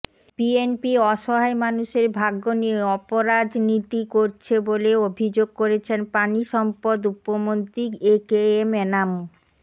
BNP অসহায় মানুষের ভাগ্য নিয়ে অপরাজনীতি করছে বলে অভিযোগ করেছেন পানি সম্পদ উপমন্ত্রী একেএম এনামু